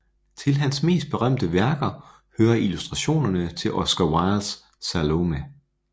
Til hans mest berømte værker hører illustrationerne til Oscar Wildes Salomé